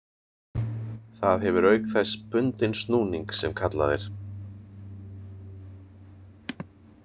Það hefur auk þess bundinn snúning sem kallað er.